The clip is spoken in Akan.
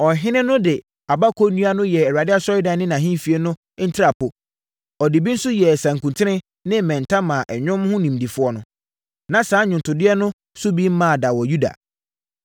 Ɔhene no de abako nnua no yɛɛ Awurade Asɔredan ne ahemfie no ntrapoe. Ɔde bi nso yɛɛ nsankuten ne mmɛnta maa nnwom ho nimdefoɔ no. Na saa nnwontodeɛ no so bi mmaa da wɔ Yuda.